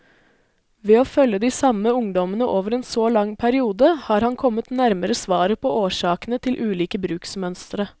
Ved å følge de samme ungdommene over en så lang periode, har han kommet nærmere svaret på årsakene til ulike bruksmønstre.